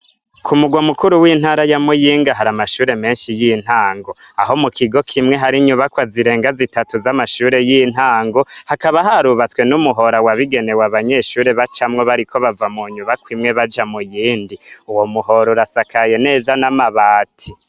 Ku mugwa mukuru w'intara ya muyinga hari amashure menshi y'intango aho mu kigo kimwe hari inyubakwa zirenga zitatu z'amashure y'intango hakaba harubatswe n'umuhora wabigenewe abanyeshure bacamwo bariko bava mu nyubakwimwe baja muyindi uwo muhora urasakaye neza n'amabati.